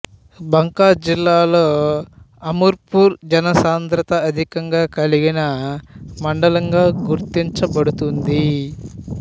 బంకా జిల్లాలో అమర్పూర్ జసాంధ్రత అధికంగా కలిగిన మండలంగా గుర్తించబడుతుంది